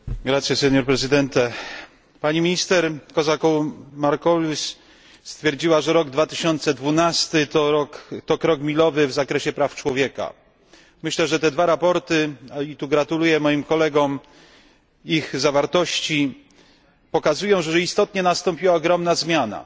Panie Przewodniczący! Pani minister Kozakou Marcoullis stwierdziła, że rok 2012 to krok milowy w zakresie praw człowieka. Myślę, że te dwa sprawozdania i tu gratuluję moim kolegom ich zawartości pokazują, że istotnie nastąpiła ogromna zmiana.